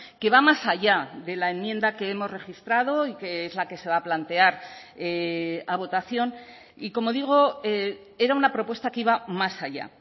que va más allá de la enmienda que hemos registrado y que es la que se va a plantear a votación y como digo era una propuesta que iba más allá